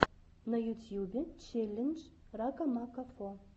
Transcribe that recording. на ютьюбе челлендж ракамакафо